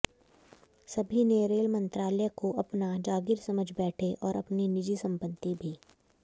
सभी ने रेल मंत्रालय को अपना जागीर समझ बैठे और अपनी निजी संपत्ति भी